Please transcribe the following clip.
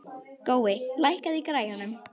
Gói, lækkaðu í græjunum.